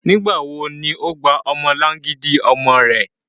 Nigbawo ni o gba ọmọlangidi ọmọ rẹ?